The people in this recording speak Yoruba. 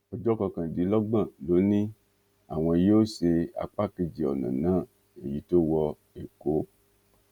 ọjọ kọkàndínlọgbọn ló ní àwọn yóò ṣe apá kejì ọnà náà èyí tó wọ ẹkọ